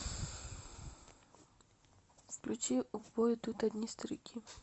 включи в бой идут одни старики